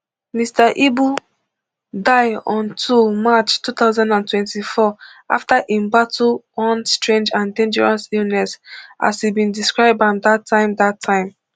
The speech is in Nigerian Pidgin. mr ibu die on two march two thousand and twenty-four afta im battle one strange and dangerous illness as e bin describe am dat time dat time